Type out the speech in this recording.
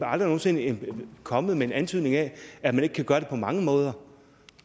aldrig nogen sinde kommet med en antydning af at man ikke kan gøre det på mange måder